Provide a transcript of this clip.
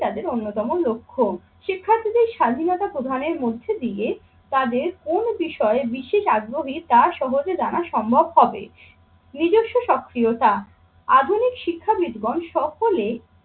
তাদের অন্যতম লক্ষ্য। শিক্ষার্থীদের স্বাধীনতা প্রদানের মধ্যে দিয়ে তাদের কোন বিষয়ে বিশেষ আগ্রহী তা সহজে জানা সম্ভব হবে। নিজস্ব সক্রিয়তা আধুনিক শিক্ষাবিদগণ সকলে